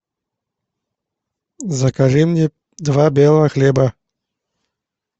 закажи мне два белого хлеба